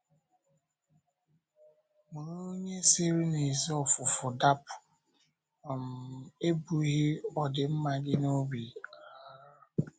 Ma onye si n’ezi ọfụ̀fụ̀ dapụ̀ um ebughị ọdịmma gị n’obi. um